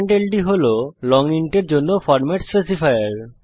ld হল long int এর জন্য ফরম্যাট স্পেসিফায়ার